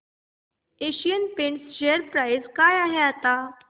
Asian Paints share price काय आहे आता